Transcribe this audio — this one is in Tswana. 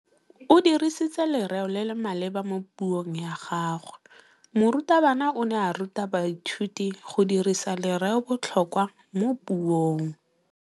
O dirisitse lerêo le le maleba mo puông ya gagwe. Morutabana o ne a ruta baithuti go dirisa lêrêôbotlhôkwa mo puong.